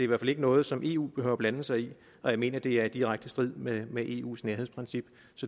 hvert fald ikke noget som eu behøver at blande sig i jeg mener at det er i direkte strid med med eus nærhedsprincip